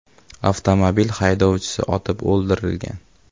Avtomobil haydovchisi otib o‘ldirilgan.